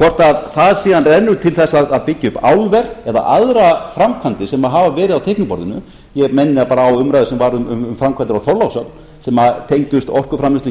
hvort það síðan rennur til að byggja upp álver eða aðrar framkvæmdir sem hafa verið á teikniborðinu ég minni á umræðu sem varð um framkvæmdir á þorlákshöfn sem tengdist orkuframleiðslu á íslandi sem því miður virðast ekki ætla að ganga eftir það